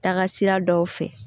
Taa ka sira dɔw fɛ